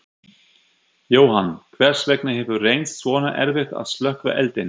Jóhann, hvers vegna hefur reynst svona erfitt að slökkva eldinn?